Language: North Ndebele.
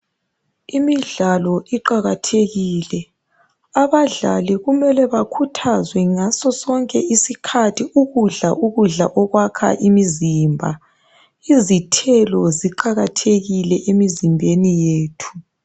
Imidlalo iqakathekile, abadlali kumele bakhuthazwe ngasosonke isikhathi ikudla ukudla okwakha imizimba, izithelo ziqakathekile emizimbeni yethu.